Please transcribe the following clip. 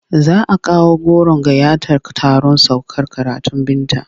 Za a kawo goron gayyatar taron saukar karatun Binta.